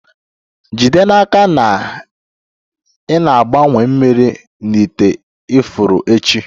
Jide n'aka na ị na-agbanwe mmiri na ite ifuru echi